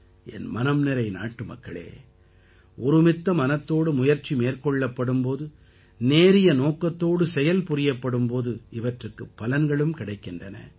என் மனம் நிறை நாட்டுமக்களே ஒருமித்த மனத்தோடு முயற்சி மேற்கொள்ளப்படும் போது நேரிய நோக்கத்தோடு செயல் புரியப்படும் போது இவற்றுக்குப் பலன்களும் கிடைக்கின்றன